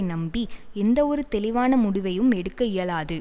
நம்பி எந்தவொரு தெளிவான முடிவையும் எடுக்க இயலாது